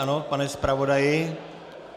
Ano, pane zpravodaji?